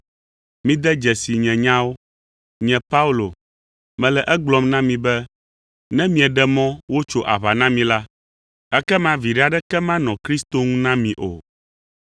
Mide dzesi nye nyawo! Nye Paulo, mele egblɔm na mi be ne mieɖe mɔ wotso aʋa na mi la, ekema viɖe aɖeke manɔ Kristo ŋu na mi o.